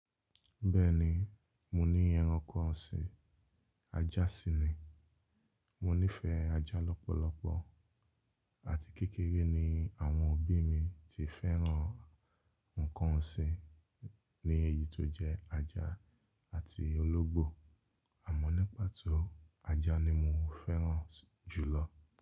Bẹ́ẹ̀ni, mo ní ẹranko ọ̀sìn, ajá sì ni. Mo nífẹ̀ẹ́ ajá lọ́pọ̀lọpọ̀ àti kékeré ni àwọn òbí mi ti fẹ́ràn nǹkan ọ̀sìn ní èyí tó jẹ́ ajá àti ológbò. Àmọ́ ní pàtó ajá ni mo fẹ́ràn jù lọ.